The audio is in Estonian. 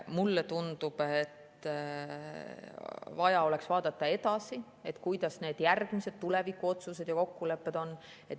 Mulle tundub, et vaja oleks vaadata edasi, millised on järgmised tulevikuotsused ja kokkulepped.